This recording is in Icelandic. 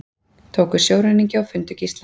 Tóku sjóræningja og fundu gísla